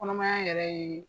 Kɔnɔmaya yɛrɛ ye